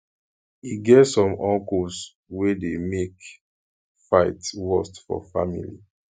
e get some uncles wey dey make fight worst for family